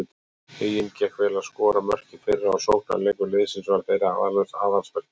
Huginn gekk vel að skora mörk í fyrra og sóknarleikur liðsins var þeirra aðalsmerki.